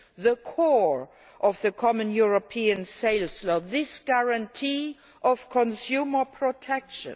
the core of the Common European Sales Law the guarantee of consumer protection.